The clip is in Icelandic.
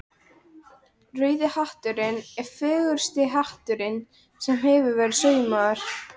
Rauði hatturinn er fegursti hattur sem hefur verið saumaður.